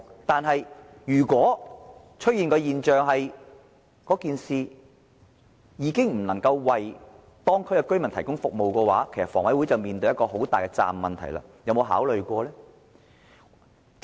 但是，如果出現的現象是，領展的做法已經不能夠為當區居民提供服務，房委會便須面對一個很大的責任問題，它有沒有考慮過呢？